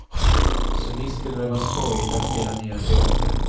Så visst skulle det vara skojigt att spela mera teater.